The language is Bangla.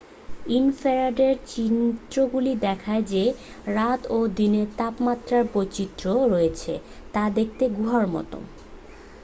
ইনফ্রারেড চিত্রগুলি দেখায় যে রাতে ও দিনে তাপমাত্রার বৈচিত্র্য রয়েছে তা দেখতে গুহার মতো